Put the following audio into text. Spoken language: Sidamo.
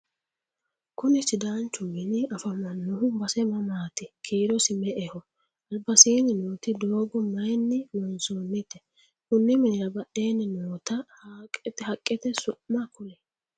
kuni sidaanchu mini afamannohu base mamaati? kiirosi me"eho? albasiinni nooti doogo mayeenni loonsoonnite? konni minira badheenni noota haqqete su'ma kulie?